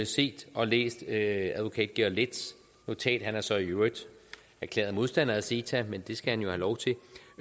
set og læst advokat georg letts notat han er så i øvrigt erklæret modstander af ceta men det skal han jo have lov til at